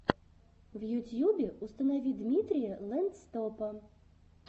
в ютьюбе установи дмитрия лэндстопа